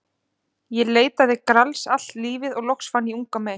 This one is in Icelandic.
Ég leitaði Grals allt lífið og loks fann ég unga mey.